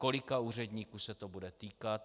Kolika úředníků se to bude týkat?